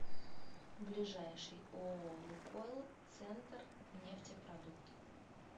ближайший ооо лукойл центрнефтепродукт